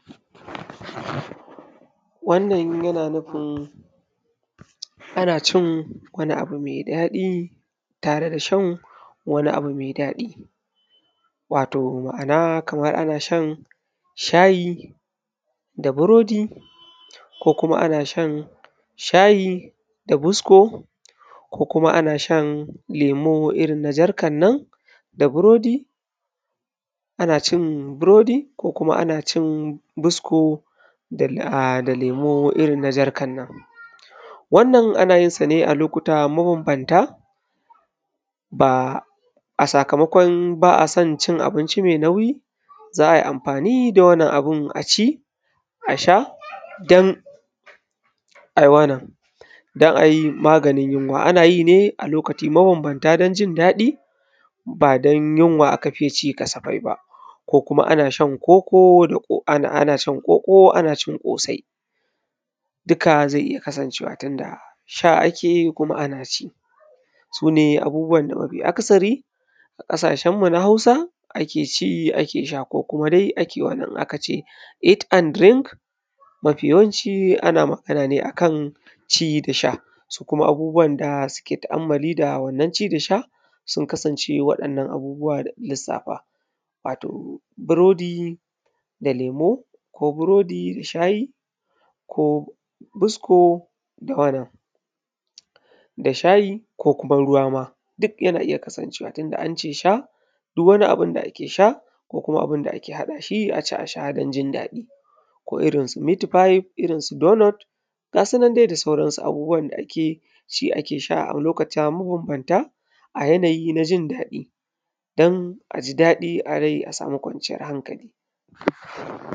Wannan yana nufin ana cin wani abu mai daɗi tare da shan wani abu mai daɗi. Wato ma’ana kamar ana shan shayi da burodi; ko kuma ana shan shayi da busko; ko kuma ana shan lemo irin na jarkan nan da burodi, ana cin burodi ko kuma ana cin busko a da lemo irin na jarkan nan. Wannan ana yin sa ne a lokuta mabambanta, ba a sakamakon ba a son cin abinci mai nauyi, za a yi amfani da wannan abun a ci, a sha don ai wannan, don a yi maganin yunwa. Ana yi ne a lokaci mabambanta don jin daɗi ba don yunwa aka faye ci kasafai ba; ko kuma ana shan koko da, ana shan koko ana cin ƙosai. Duka zai iya kasancewa tunda sha ake yi kuma ana ci. Su ne abubuwan da mafi akasari a ƙasashenmu na Hausa ake ci ake sha, ko kuma dai ake wannan in aka ce eat and drink, mafi yawanci ana magana a kan ci da sha. Su kuma abubuwan da suke tu’ammali da wannan ci da sha sun kasance waɗannan abubuwa da na lissafa, wato burodi da lemo; ko burodi da shayi; ko busko da wannan, da shayi ko kuma ruwa ma, duk yana iya kasancewa tunda an ce sha, duk wani abun da ake sha, ko kuma abun da ake haɗa shi a ci a sha don jin daɗi; ko irin su mitifayif irin su donot, ga su nan dai da sauransu abubuwan da ake ci ake sha a lokuta mabambanta, a yanayi na jin daɗi, don a ji daɗi a rai a samu kwanciyar hankali.